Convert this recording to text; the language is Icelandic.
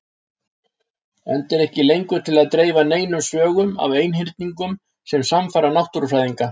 Enda er ekki lengur til að dreifa neinum sögum af einhyrningum sem sannfæra náttúrufræðinga.